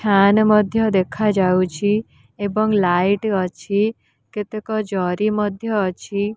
Fan ମଧ୍ୟ ଦେଖା ଯାଉଛି ଏବଂ ଲାଇଟ୍ବ ଅଛି କେତେକ ଜରି ମଧ୍ୟ ଅଛି।